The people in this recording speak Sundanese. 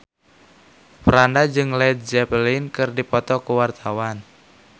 Franda jeung Led Zeppelin keur dipoto ku wartawan